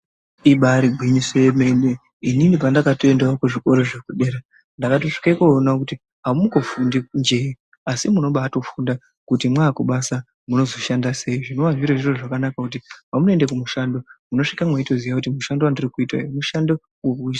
Ibari gwinyiso remene inini pandakatoendawo kuzvikora zvepadera ndakatosvika koona kuti amungofundi njee asi munobaifunda kuti makumabasa munozoshanda sei zvinova zcirizvo zvakanaka kuti pamunozoenda kumushando mutosvika metoona kuti mushando wandiri kuita uyu mushando we....